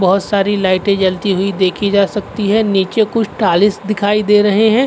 बहुत सारी लाइटें जलती हुई देखी जा सकती है। नीचे कुछ टालिस दिखाई दे रहे हैं।